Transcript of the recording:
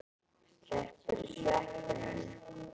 Slepptirðu sveppunum?